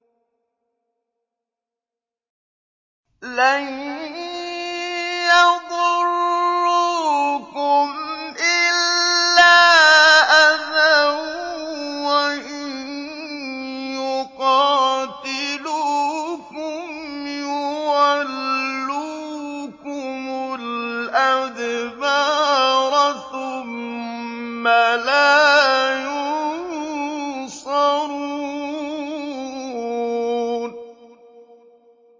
لَن يَضُرُّوكُمْ إِلَّا أَذًى ۖ وَإِن يُقَاتِلُوكُمْ يُوَلُّوكُمُ الْأَدْبَارَ ثُمَّ لَا يُنصَرُونَ